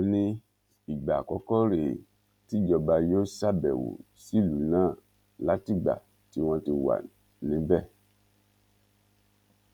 ó ní ìgbà àkọkọ rèé tíjọba yóò ṣàbẹwò sílùú náà látìgbà tí wọn ti wà níbẹ